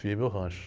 Fiz meu rancho.